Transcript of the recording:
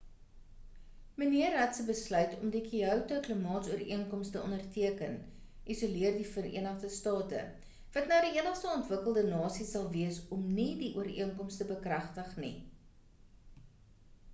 mnr rudd se besluit om die kyoto klimaatsooreenkoms te onderteken isoleer die verenigde state wat nou die enigste ontwikkelde nasie sal wees om nie die ooreenkoms te bekragtig nie